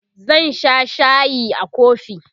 zan Sha shayi a kofi